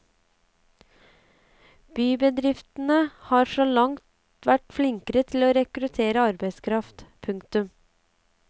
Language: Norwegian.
Bybedriftene har så langt vært flinkere til å rekruttere arbeidskraft. punktum